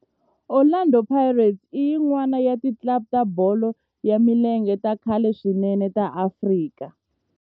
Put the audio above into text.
Orlando Pirates i yin'wana ya ti club ta bolo ya milenge ta khale swinene ta Afrika